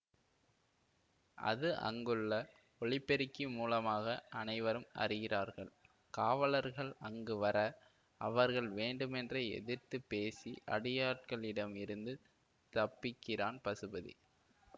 அது அங்குள்ள ஒலிபெருக்கி மூலமாக அனைவரும் அறிகிறார்கள் காவலர்கள் அங்கு வர அவர்கள் வேண்டுமென்றே எதிர்த்து பேசி அடியாட்களிடம் இருந்து தப்பிக்கிறான் பசுபதி